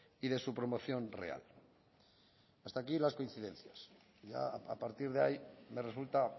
y de su promoción real hasta aquí las coincidencias ya a partir de ahí me resulta